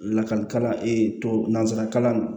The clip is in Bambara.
Lakali kalan ee tɔ nanzara kalan